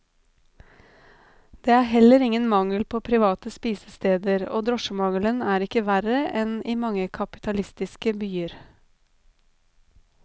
Det er heller ingen mangel på private spisesteder, og drosjemangelen er ikke verre enn i mange kapitalistiske byer.